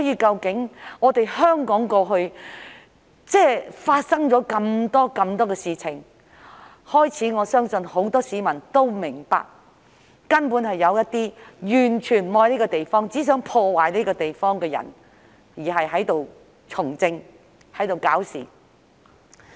在香港過去發生這麼多事情後，我相信很多市民都開始明白，有一些完全不愛香港、只想破壞香港的人，正在從政和搞事。